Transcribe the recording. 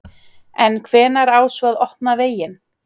En hvenær á svo að opna veginn?